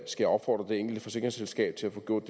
jeg opfordre det enkelte forsikringsselskab til at få gjort